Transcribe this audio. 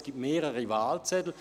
Es gibt mehrere Wahlzettel.